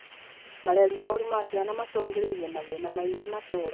Mareri moru ma ciana macũngĩrĩirie mathĩna maingĩ matũra